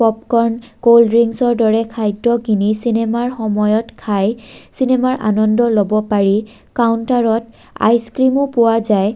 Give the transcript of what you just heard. Popcorn cold ড্ৰিংকসৰ দৰে খাদ্য কিনি চিনেমাৰ সময়ত খাই চিনেমাৰ আনন্দ ল'ব পাৰি কাউন্তাৰত আইচক্ৰীমো পোৱা যায়।